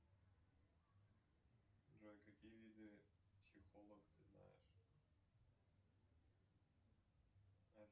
джой какие виды психолог ты знаешь